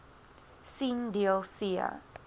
sien deel c